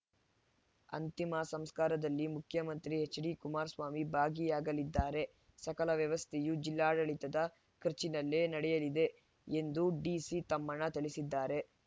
ಅಂತಿಮ ಸಂಸ್ಕಾರದಲ್ಲಿ ಮುಖ್ಯಮಂತ್ರಿ ಎಚ್‌ಡಿಕುಮಾರಸ್ವಾಮಿ ಭಾಗಿಯಾಗಲಿದ್ದಾರೆ ಸಕಲ ವ್ಯವಸ್ಥೆಯೂ ಜಿಲ್ಲಾಡಳಿತದ ಖರ್ಚಿನಲ್ಲೇ ನಡೆಯಲಿದೆ ಎಂದು ಡಿಸಿತಮ್ಮಣ್ಣ ತಿಳಿಸಿದ್ದಾರೆ